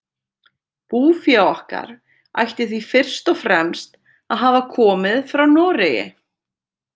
Búfé okkar ætti því fyrst og fremst að hafa komið frá Noregi.